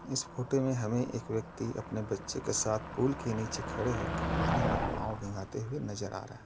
इस फोटो में हमे एक व्यक्ति अपने बच्चे के साथ पूल की नीचे खड़े होके पानी में पाव भिंगते हुए नजर रहा --